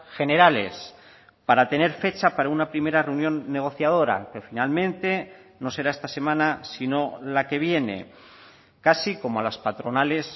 generales para tener fecha para una primera reunión negociadora pero finalmente no será esta semana sino la que viene casi como a las patronales